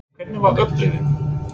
Hvernig var upplifunin?